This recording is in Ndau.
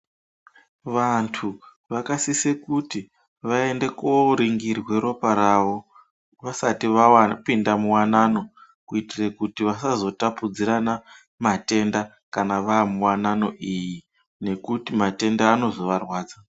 Vantu vakasisa kuti vaende koningirwa ropa rawo vasati vapinda muwanano Kuitira kuti vasazotapudzirana matenda kana vamuwanano iyo ngekuti matenda anozovarwadza.